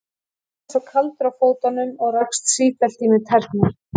Þú varst líka svo kaldur á fótunum og rakst sífellt í mig tærnar.